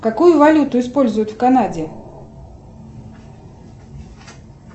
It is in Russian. какую валюту используют в канаде